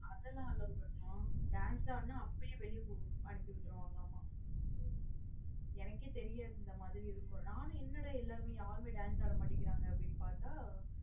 அதெல்லா allowed நா dance ஆடுன அப்பாயே வெளிய அனுப்பி விற்றுவங்கலாம் மா எனக்கே தெரியாது இந்த மாத்ரி இருக்குனு நானும் என்னடா எல்லாருமே யாரும்மே dance ஆட மாட்டிகிறாங்க பாத்த.